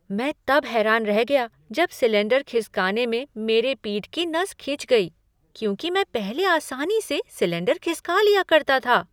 मैं तब हैरान रह गया जब सिलेंडर खिसकाने में मेरे पीठ की नस खिंच गई, क्योंकि मैं पहले आसानी से सिलेंडर खिसका लिया करता था।